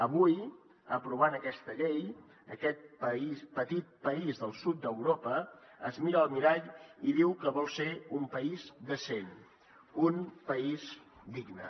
avui aprovant aquesta llei aquest petit país del sud d’europa es mira al mirall i diu que vol ser un país decent un país digne